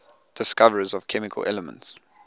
discoverers of chemical elements